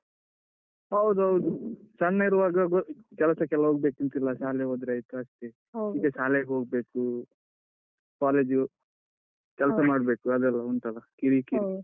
ಹೌದೌದು ಸಣ್ಣ ಇರುವಾಗ~ ಗ ಕೆಲ್ಸಕ್ಕೆಲ್ಲ ಹೋಗ್ಬೇಕಂತಿಲ್ಲ ಶಾಲೆ ಹೋದ್ರಾಯ್ತು ಅಷ್ಟೆ ಶಾಲೆಗ್ ಹೋಗ್ಬೇಕು, ಕಾಲೇಜಿಗ್ ಹೋ, ಕೆಲ್ಸ ಮಾಡ್ಬೇಕು, ಅದೆಲ್ಲ ಉಂಟಲ್ಲ ಕಿರಿಕಿರಿ.